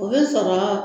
O bɛ sɔrɔ